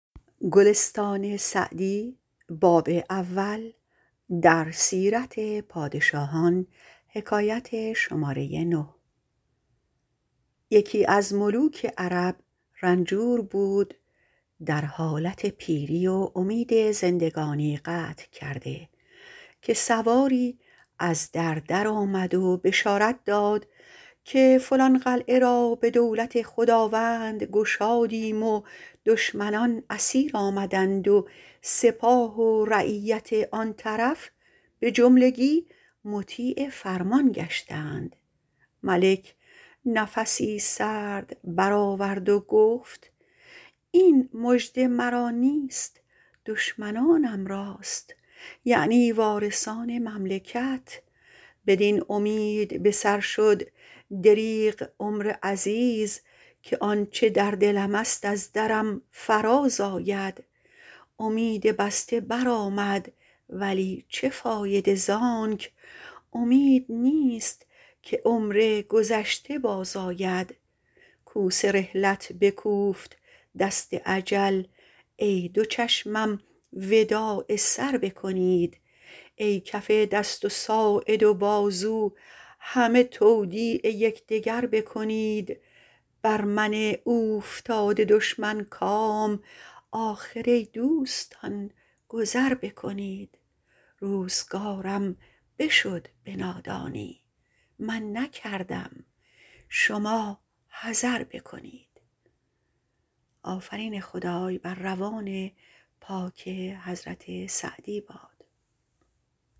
یکی از ملوک عرب رنجور بود در حالت پیری و امید زندگانی قطع کرده که سواری از در درآمد و بشارت داد که فلان قلعه را به دولت خداوند گشادیم و دشمنان اسیر آمدند و سپاه و رعیت آن طرف به جملگی مطیع فرمان گشتند ملک نفسی سرد بر آورد و گفت این مژده مرا نیست دشمنانم راست یعنی وارثان مملکت بدین امید به سر شد دریغ عمر عزیز که آنچه در دلم است از درم فراز آید امید بسته بر آمد ولی چه فایده زانک امید نیست که عمر گذشته باز آید کوس رحلت بکوفت دست اجل ای دو چشمم وداع سر بکنید ای کف دست و ساعد و بازو همه تودیع یکدگر بکنید بر من اوفتاده دشمن کام آخر ای دوستان گذر بکنید روزگارم بشد به نادانی من نکردم شما حذر بکنید